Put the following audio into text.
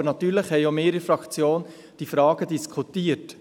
Aber natürlich haben auch wir in der Fraktion diese Fragen diskutiert.